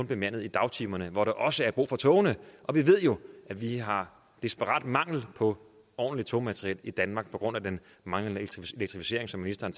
bemandet i dagtimerne hvor der også er brug for togene og vi ved jo at vi har desperat mangel på ordentligt togmateriel i danmark på grund af den manglende elektrificering som ministeren